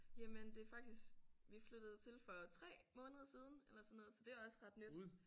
Jamen det er faktisk vi flyttede til for 3 måneder siden eller sådan noget så det er også ret nyt